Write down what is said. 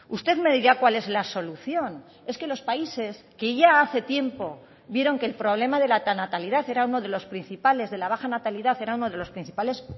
usted me dirá cuál es la solución es que los países que ya hace tiempo vieron que el problema de la natalidad era uno de los principales de la baja natalidad era uno de los principales